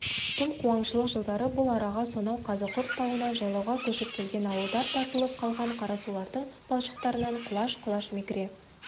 тым қуаңшылық жылдары бұл араға сонау қазықұрт тауынан жайлауға көшіп келген ауылдар тартылып қалған қарасулардың балшықтарынан құлаш-құлаш мекре